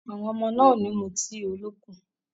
Àwọn ọmọ náà ò ní mu tíì olókùn.